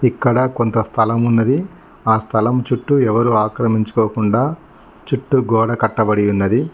ఇక్కడ కొంత స్థలం ఉన్నది. ఆ స్థలం చుట్టూ ఎవరూ అక్రమించుకోకుండా చుట్టూ గోడ కట్టబడి యున్నది.